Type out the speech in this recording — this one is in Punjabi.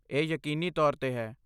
ਇਹ ਯਕੀਨੀ ਤੌਰ 'ਤੇ ਹੈ